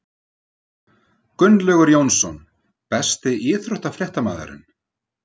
Gunnlaugur Jónsson Besti íþróttafréttamaðurinn?